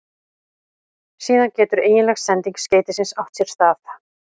Síðan getur eiginleg sending skeytisins átt sér stað.